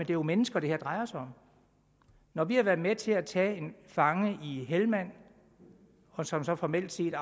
jo mennesker det her drejer sig om når vi har været med til at tage en fange i helmand som så formelt set